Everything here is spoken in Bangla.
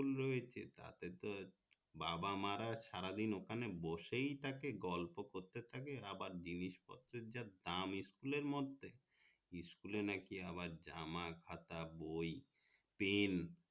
school রয়েছে তাতেই তো এ বাবা মারা সারাদিন ওখানে বসেই থাকে গল্প করতে থাকে জিনিস পত্রের যা দাম school আর মধ্যে school নাকি আবার জামা কাপড় খাতা বই পেন